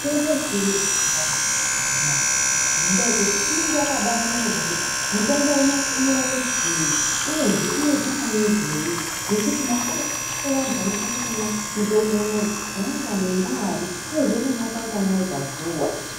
Mitombo yechiyungu yakabaanaka amuna wee ngekuti inenge yakatonyorwa kuti mutombo unowu unorapa chiinyi uyezve unoizwa mamwirei nekuti makore evantu vanokone kumwa mutombo unowu ngaari uyezve unomwiwa kanganai pazuwa